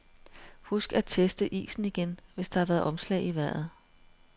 Husk at teste isen igen, hvis der har været omslag i vejret.